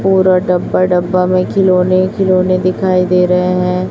और डब्बा डब्बा में खिलौने खिलौने दिखाई दे रहे हैं।